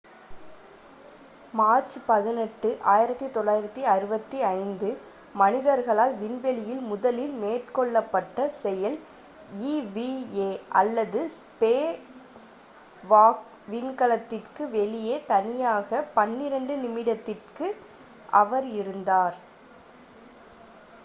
"March 18 1965 மனிதர்களால் விண்வெளியில் முதலில் மேற்கொள்ளப்பட்ட செயல் eva அல்லது "ஸ்பேஸ்வாக்" விண்கலத்திற்கு வெளியே தனியாக பன்னிரண்டு நிமிடத்திற்கு அவர் இருந்தார்.